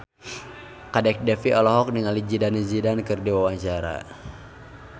Kadek Devi olohok ningali Zidane Zidane keur diwawancara